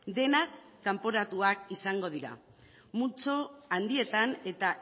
denak kanporatuak izango dira multzo handietan eta